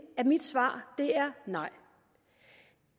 at mit svar er nej